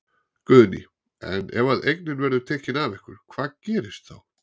Guðný: En ef að eignin verður tekin af ykkur hvað gerist þá?